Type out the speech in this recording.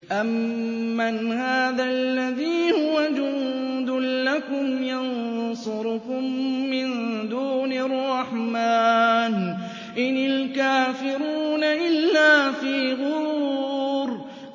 أَمَّنْ هَٰذَا الَّذِي هُوَ جُندٌ لَّكُمْ يَنصُرُكُم مِّن دُونِ الرَّحْمَٰنِ ۚ إِنِ الْكَافِرُونَ إِلَّا فِي غُرُورٍ